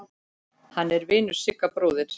Hann er vinur Sigga bróður.